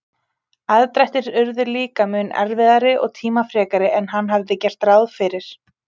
Aðdrættir urðu líka mun erfiðari og tímafrekari en hann hafði gert ráð fyrir.